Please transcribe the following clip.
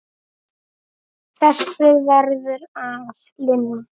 Þessu verður að linna.